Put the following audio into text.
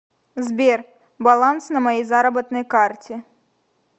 сбер баланс на моей заработной карте